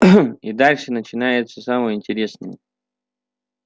и дальше начинается самое интересное